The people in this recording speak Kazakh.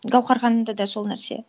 гауһар ханымда да сол нәрсе